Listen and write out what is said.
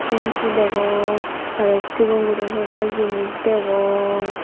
shempu degong aro sigon guro hebar jinis degong.